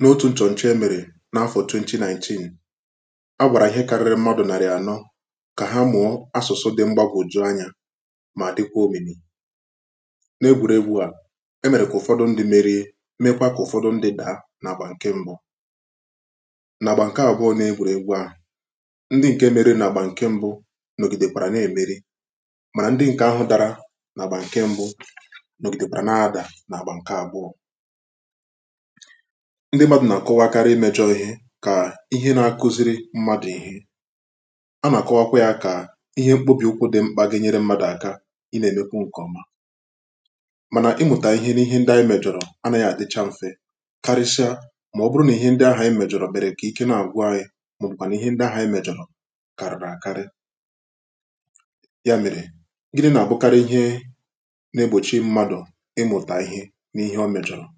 N’otū ǹchọ̀ǹchọ e mèrè n’afọ̀ twenty nineteen a gwàrà ihe karịri mmadụ̀ nàrị̀ ànọ kà ha mụ̀ọ asụ̀su dị mgbagwòju anyā mà dịkwa òmìmì n’egwùregwū à e mèrè kà ụ̀fọdụ ndị̄ merie mekwa kà ụ̀fọdụ ndị̄ dàa n’àgbà ǹke mbụ n’àgbà ǹke àbụ̀ọ n’egwùregwū ahụ̀ ndị ǹke merie n’àgbà ǹke mbụ nọ̀gìdèkwàrà na-èmeri mànà ndị ǹkè ahụ̄ dara n’àgbà ǹke mbụ nọ̀gìdèkwàrà na-adà n’àgbà ǹke àbụọ̄ ndị mmadụ̀ nà-àkọwakari imējọ ihe kà ihe na-akụziri mmadụ̀ ihe anà-àkọwakwa yā kà ihe mkpobìokwū dị mkpà ga-enyere mmadụ̀ aka ịnā-èmekwu ǹkè ọma m̀anà ịmụ̀tà ihe n’ihe ndị anyị mèjọ̀rọ̀ anāghị àdịcha mfe karịsịa mà ọ bụrụ nà ihe ndị ahà ànyị mèjọ̀rọ̀ mèrè kà ike na-àgwụ anyị màọ̀bụ̀kwànù nà ihe ndị ahụ̀ ànyị mèjọ̀rọ̀ kàrị̀rị̀ àkarị ya mèrè gịnị̄ nà-àbụkari ihe na-egbòchi mmadụ̀ ịmụ̀tà ihe n’ihe o mèjọ̀rọ̀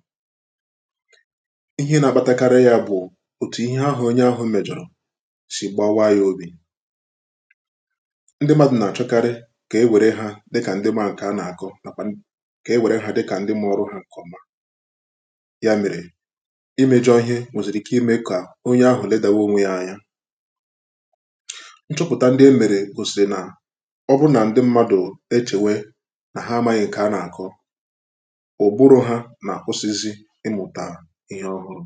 ihe na-akpatakarị yā bụ̀ òtù ihe ahụ̀ onye ahụ̄ mèjọ̀rọ̀ sì gbawa yā obì ndị mmadụ̀ nà-àchọkarị kà ewère hā dịkà ndị ma ǹkè anà-àkọ nàkwà kà ewère hā dịkà ndị ma ọrụ hā ǹkè ọma ya mèrè imējọ ihe nwèzìrì ike imē kà onye ahụ̀ ledàwa onwe yā anya nchọpụ̀ta ndị e mèrè gòsì nà ọ bụ nà ndị mmadụ̀ echèwe nà ha amāghị ǹkè anà-àkọ òkpurū ha nà-àkwụsizi ịmụ̀tà ihe ọhụrụ̄